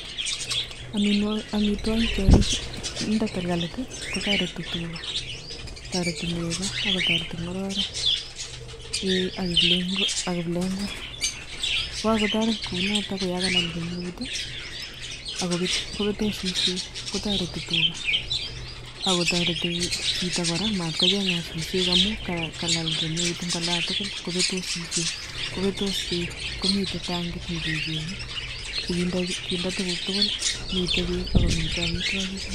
Omitwogik chekoginde talkalit kotoreti tuga, toreti nego ak kotoreti ng'ororet eeh ak kiplekwet, yegakotoret kounoton koyakalal kemeut i kobetos suswek kotareti tuga ak kotareti chito kora komatkocheng'at suswek amun kolal kemeut en olan tugul kobetos suswek kobetos beek komiten tangik nekechenge sikinde tukuk tugul, miten beek ak komiten omitwogik chu.